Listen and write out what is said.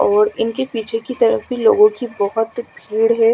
और इनके पीछे कि तरफ भी लोगो कि बहोत भीड़ है।